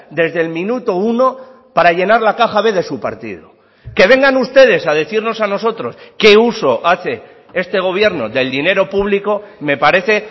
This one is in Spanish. desde el minuto uno para llenar la caja b de su partido que vengan ustedes a decirnos a nosotros qué uso hace este gobierno del dinero público me parece